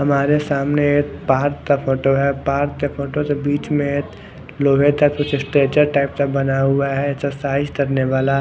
हमारे सामने एक पार्क का फोटो है पार्क के फोटो के बिच में एक लोहे टाइप का स्ट्रक्चर का बना हुआ है जो एक्सरसाइज करने वाला--